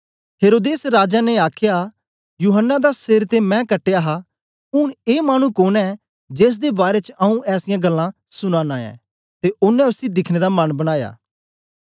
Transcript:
हेरोदेस राजा ने आखया यूहन्ना दा सेर ते मैं कटया हा ऊन ए मानु कोन ऐं जेसदे बारै च आऊँ ऐसीयां गल्लां सुना नां ऐं ते ओनें उसी दिखने दा मन बनाया